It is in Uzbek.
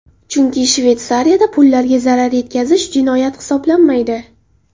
Chunki Shveysariyada pullarga zarar yetkazish jinoyat hisoblanmaydi.